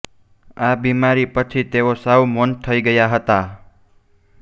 આ બિમારી પછી તેઓ સાવ મૌન થઈ ગયા હતા